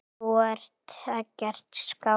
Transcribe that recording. Þú ert ekkert skáld.